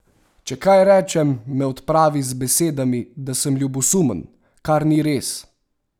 Če kaj rečem, me odpravi z besedami, da sem ljubosumen, kar ni res!